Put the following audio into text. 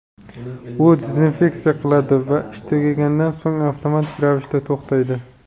U dezinfeksiya qiladi va ish tugagandan so‘ng avtomatik ravishda to‘xtaydi.